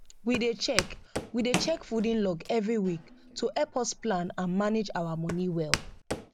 we dey check we dey check fooding log every week to help us plan and manage ourmoney well